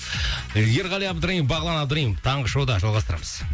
ерғали абдраимов бағлан абдраимов таңғы шоуда жалғастырамыз